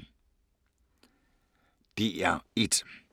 DR1